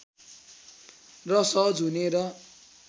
र सहज हुने र